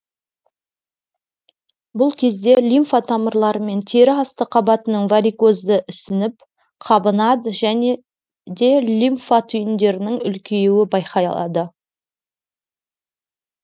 бұл кезде лимфа тамырлары мен тері асты қабатының варикозды ісініп қабынады және де лимфа түйіндерінің үлкеюі байқалады